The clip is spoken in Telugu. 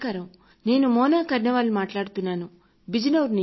నేను మోనా కర్ణవాల్ ను మాట్లాడుతున్నాను బిజ్ నోర్ నుంచి